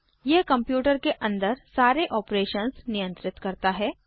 यह कम्प्यूटर के अंदर सारे ऑपरेशंस नियंत्रित करता है